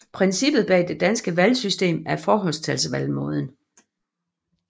Princippet bag det danske valgsystem er forholdstalsvalgmåden